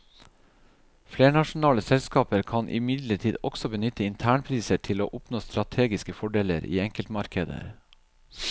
Flernasjonale selskaper kan imidlertid også benytte internpriser til å oppnå strategiske fordeler i enkeltmarkeder.